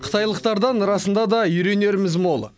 қытайлықтардан расында да үйренеріміз мол